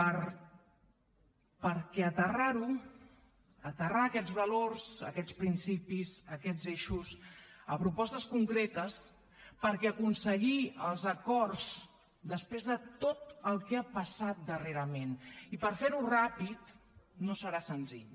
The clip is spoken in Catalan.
perquè aterrar ho aterrar aquests valors aquests principis aquests eixos a propostes concretes perquè aconseguir els acords després de tot el que ha passat darrerament i per fer ho ràpid no serà senzill